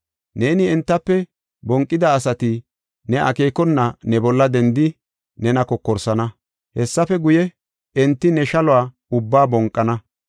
Neeni entafe bonqida asati ne akeekona ne bolla dendidi nena kokorsana. Hessafe guye, enti ne shaluwa ubbaa bonqana.